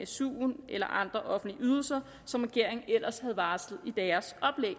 suen eller andre offentlige ydelser som regeringen ellers havde varslet